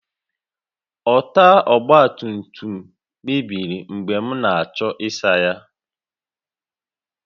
Ọta ọgba tum tum mebiri mgbe m na-achọ ịsa ya